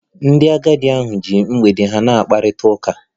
Ndị agadi ahụ ji mgbede ha na-akparịta ụka